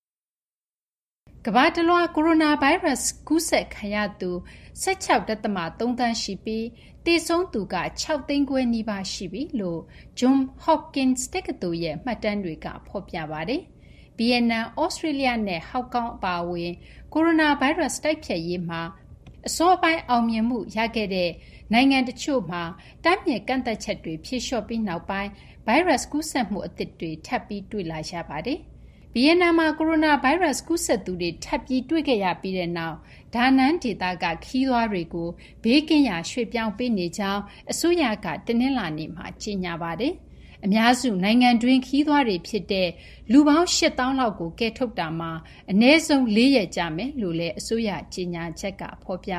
ကမ္ဘာတလွှား ကိုရိုနာဗိုင်းရပ်စ်ကူးစက်ခံရသူ ၁၆.၃ သန်းရှိပြီး သေဆုံးသူက ၆၅၀,၀၀၀ နီးပါး ရှိပြီလို့ Johns Hopkins တက္ကသိုလ်ရဲ့ မှတ်တမ်းတွေက ဖော်ပြပါတယ်။ ကိုရိုနာဗိုင်းရပ်စ် ကူးစက်မှုတွေ ထပ်မတွေ့ရတော့တဲ့အထိ အစောပိုင်း အောင်အောင်မြင်မြင် ထိန်းချုပ်နိုင်ခဲ့တဲ့ နေရာတချို့မှာ ရောဂါထိန်းချုပ်ရေး ကန့်သတ်ချက်တွေ ပြန်လည် ရုပ်သိမ်းခဲ့ပြီး နောက်ပိုင်း ကူးစက်မှုသစ်တွေ ပြန်တွေ့လာနေရပြီး ဒီအထဲမှာ ဗီယက်နမ်၊ သြစေတြေးလျ နဲ့ ဟောင်ကောင်ကျွန်းတို့ ပါ ပါတယ်။ ဗီယက်နမ်နိုင်ငံ အပန်းဖြေကမ်းခြေမြို့Danang မှာ ကိုဗစ်-၁၉ ရောဂါ ကူးစက်သူတချို့တွေ့ခဲ့ရပြီးတဲ့နောက် ဒေသတွင်း အလည်အပတ်ခရီး ရောက်နေသူတွေကို နေရာကနေ ပြောင်းရွှေ့ ထွက်ခွာကြဖို့ အစိုးရက တနင်္လာနေ့က ကြေညာခဲ့ပါတယ်။ ပြည်တွင်းခရီးသွားတွေ အများစုပါဝင်တဲ့ လူ ၈ သောင်းလောက်ကို နေရာကနေ ပြောင်းရွှေ့ ပေးခဲ့တယ်လို့ အစိုးရကြေညာချက်မှာ ဖော်ပြ